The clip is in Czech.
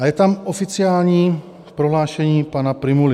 A je tam oficiální prohlášení pana Prymuly.